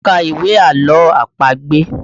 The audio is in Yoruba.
Mo ka ìwé àlọ́ àpagbè